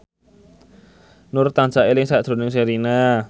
Nur tansah eling sakjroning Sherina